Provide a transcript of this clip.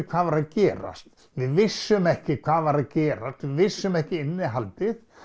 hvað var að gerast við vissum ekki hvað var að gerast við vissum ekki innihaldið